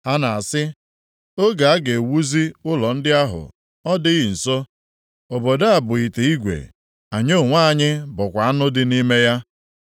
Ha na-asị, ‘Oge a ga-ewuzi ụlọ ndị ahụ ọ dịghị nso? Obodo a bụ ite igwe, anyị onwe anyị bụkwa anụ dị nʼime ya.’